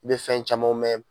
I be fɛn camanw mɛn